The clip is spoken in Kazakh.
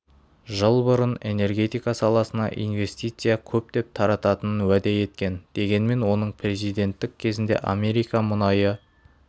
жыл бұрын энергетика саласына инвестиция көптеп тартатынын уәде еткен дегенмен оның президенттік кезінде америка мұнайы